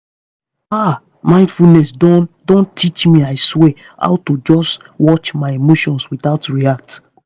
ah mindfulness don don teach me i swear how to just watch my emotions without react.